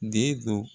Den don